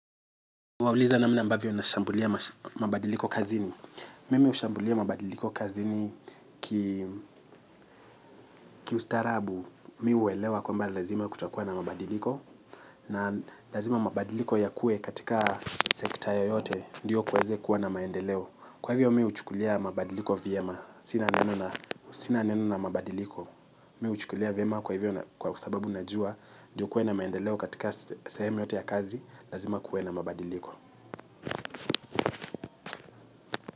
Wauliza namna ambavyo nashambulia mabadiliko kazini. Mimi hushambulia mabadiliko kazini kiustarabu mi huwelewa kwamba lazima kutakuwa na mabadiliko. Na lazima mabadiliko yakue katika sekta yoyote ndio kuweze kuwa na maendeleo. Kwa hivyo mi huchukulia mabadiliko vyema, sina neno na mabadiliko. Mi huchukulia vyema kwa hivyo kwa sababu najua ndiyo kuwe na maendeleo katika sehemu yoyote ya kazi. Lazima kuwe na mabadiliko.